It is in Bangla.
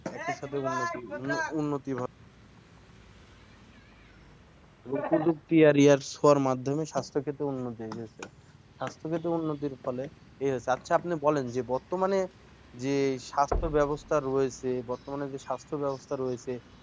প্রযুক্তি আর ইয়ার ছোঁয়ার সবার মাধ্যমেই স্বাস্থ্য ক্ষেত্রে উন্নতি হয়েছে স্বাস্থ্য ক্ষেত্রে উন্নতির ফলে, আচ্ছা আপনি বলেন বর্তমানে যে স্বাস্থ্য ব্যবস্থা রয়েছে, বর্তমানে যে স্বাস্থ্য ব্যবস্থা রয়েছে